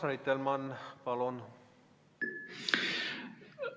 Urmas Reitelmann, palun!